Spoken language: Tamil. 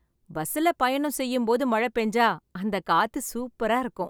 பஸ்ஸில் பயணம் செய்யும் போது மழை பெஞ்சா அந்த காத்து சூப்பரா இருக்கும்